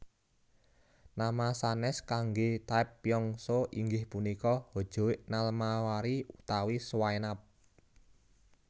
Nama sanes kangge taepyeongso inggih punika hojoek nalmari utawi swaenap